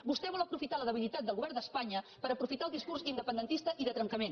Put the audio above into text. vostè vol aprofitar la debilitat del govern d’espanya per aprofitar el discurs independentista i de trencament